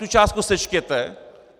Tu částku sečtěte.